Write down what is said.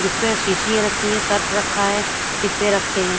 जिस पे सिसिया रखी हे सर्फ़ रखा हें डिब्बे रखे हैं।